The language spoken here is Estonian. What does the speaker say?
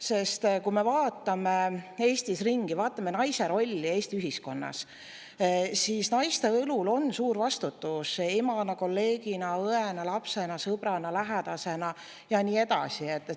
Sest kui me vaatame Eestis ringi, vaatame naise rolli Eesti ühiskonnas, siis naiste õlul on suur vastutus emana, kolleegina, õena, lapsena, sõbrana, lähedasena ja nii edasi.